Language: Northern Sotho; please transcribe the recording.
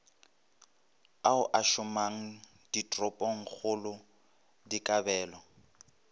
ao a šomang ditoropongkgolo dikabelo